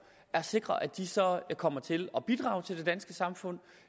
at sikre at de så kommer til at bidrage til det danske samfund